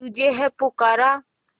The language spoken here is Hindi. तुझे है पुकारा